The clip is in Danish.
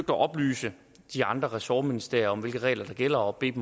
at oplyse de andre ressortministerier om hvilke regler der gælder og bedt